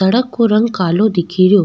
सड़क को रंग कालो दिखे रो।